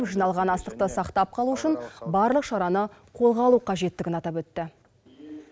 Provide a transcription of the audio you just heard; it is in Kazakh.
жиналған астықты сақтап қалу үшін барлық шараны қолға алу қажеттігін атап өтті